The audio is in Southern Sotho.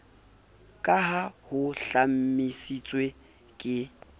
ka ha ho hlomamisitswe ke